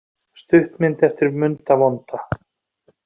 Stuttmynd eftir Munda vonda